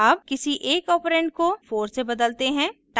अब किसी एक ऑपरेंड को 4 से बदलते हैं